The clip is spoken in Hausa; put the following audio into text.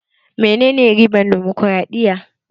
Menene ribar damokaraɗiya?